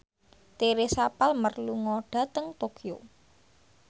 Teresa Palmer lunga dhateng Tokyo